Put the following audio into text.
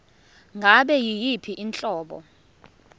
ngabe yiyiphi inhlobo